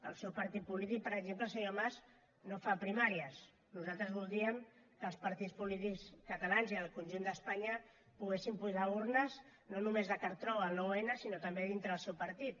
el seu partit polític per exemple senyor mas no fa primàries nosaltres voldríem que els partits polítics catalans i del conjunt d’espanya poguessin posar urnes no només de cartró el nou n sinó també dintre del seu partit